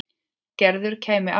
Gerður kæmi aftur til hans.